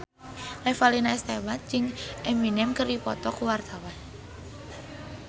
Revalina S. Temat jeung Eminem keur dipoto ku wartawan